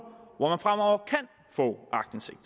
hvor man fremover kan få aktindsigt